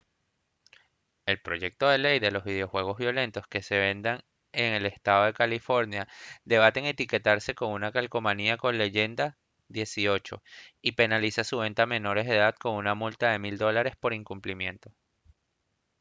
el proyecto de ley dispone que los videojuegos violentos que se vendan en el estado de california deben etiquetarse con una calcomanía con la leyenda «18» y penaliza su venta a menores de edad con una multa de $1000 por incumplimiento